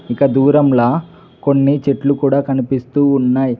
ఇక దూరంలా కొన్ని చెట్లు కూడా కనిపిస్తూ ఉన్నయ్